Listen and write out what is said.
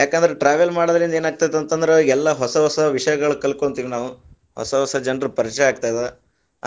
ಯಾಕಂದ್ರ travel ಮಾಡುವುದರಿಂದ ಏನಾಗತ್ತೈತಿ ಅಂತಂದ್ರ, ಎಲ್ಲ ಹೊಸ ಹೊಸ ವಿಷಯಗಳ್ ಕಲಕೋಂತಿವಿ ನಾವ್, ಹೊಸ ಹೊಸ ಜನರ ಪರಿಚಯ ಆಗ್ತಾರ,